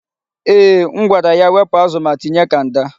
Eeh, m gwara ya wepụ azụ ma tinye kanda.